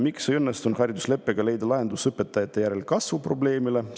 Miks ei õnnestunud haridusleppega leida lahendust õpetajate järelkasvu probleemile?